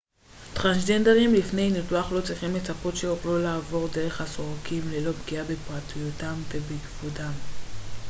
טרנסג'נדרים לפני ניתוח לא צריכים לצפות שיוכלו לעבור דרך הסורקים ללא פגיעה בפרטיותם ובכבודם